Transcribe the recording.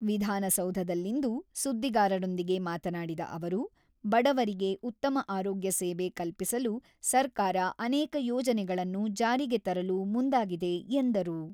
ವಿಧಾನಸೌಧದಲ್ಲಿಂದು ಸುದ್ದಿಗಾರರೊಂದಿಗೆ ಮಾತನಾಡಿದ ಅವರು, ಬಡವರಿಗೆ ಉತ್ತಮ ಆರೋಗ್ಯ ಸೇವೆ ಕಲ್ಪಿಸಲು ಸರ್ಕಾರ ಅನೇಕ ಯೋಜನೆಗಳನ್ನು ಜಾರಿಗೆ ತರಲು ಮುಂದಾಗಿದೆ ಎಂದರು.